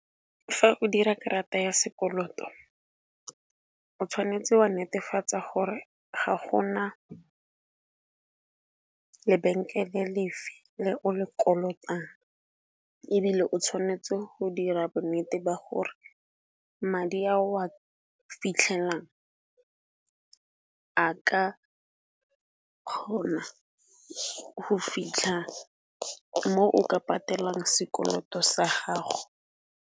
Fa o dira karata ya sekoloto o tshwanetse wa netefatsa gore ga gona lebenkele lefe le o le kolotang, ebile o tshwanetse go dira bonnete ba gore madi a o a fitlhelang a ka kgona go fitlha mo o ka patelang sekoloto sa gago.